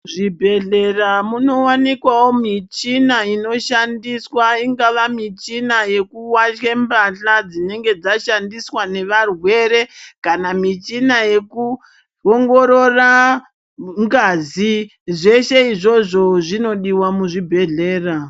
Zvibhedhlera munowanikwawo michina inoshandiswa ingava michina yekuwatye mbahla dzinenge dzashandiswa nevarwere kana michina yekuongorora ngazi zveshe izvozvo zvinodiwa muzvibhedhlera.